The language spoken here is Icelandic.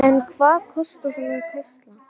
En hvað kostar svona gæsla?